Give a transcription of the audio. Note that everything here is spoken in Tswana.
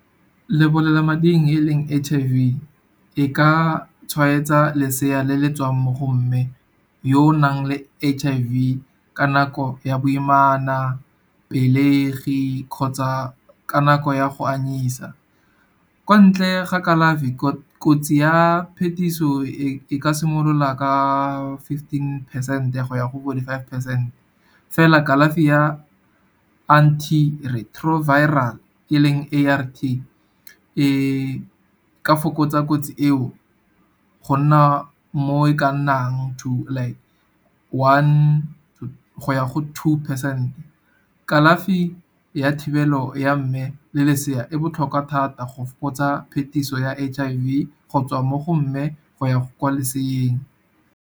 Lebolelamading e leng H_I_V e ka tshwaetsa lesea le le tswang mo go mme, yo o nang le H_I_V ka nako ya boimana, pelegi kgotsa ka nako ya go anyisa. Kwa ntle ga kalafi kotsi ya phetiso e ka simolola ka fifteen percent go ya go fourty-five percent. Fela kalafi ya Antiretroviral e leng A_R_V e ka fokotsa kotsi eo, go nna mo e ka nnang to like, one go ya go two percent. Kalafi ya thibelo ya mme le lesea e botlhokwa thata go fokotsa phetiso ya H_I_V, go tswa mo go mme go ya kwa leseeng.